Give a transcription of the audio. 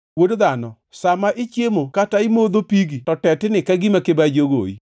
“Wuod dhano, sa ma ichiemo kata imodho pigi to tetni ka gima kibaji ogoyi.